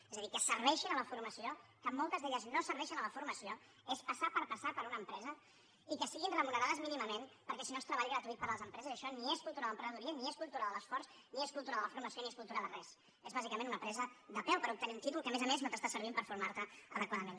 és a dir que serveixin a la formació que moltes d’elles no serveixen a la formació és passar per passar per una empresa i que siguin remunerades mínimament perquè si no és treball gratuït per a les empreses i això ni és cultura de l’emprenedoria ni és cultura de l’esforç ni és cultura de la formació ni és cultura de res és bàsicament una presa de pèl per obtenir un títol que a més a més no t’està servint per formar te adequadament